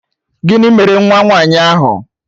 Gịnị mere nwa nwaanyị ahụ